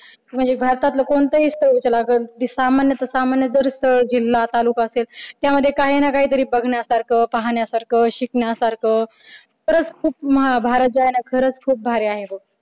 म्हणजे भारतातल कोणतही स्थळ तुला जर जे सामान्यच सामान्य जरी स्थळ, जिल्हा तालुका असेल त्यामध्ये काही ना काही तरी बघण्यासारखं पाहण्यासारखं शिकण्यासारख खरंच खूप भारत जो आहे ना खरच खूप भारी आहे. बघ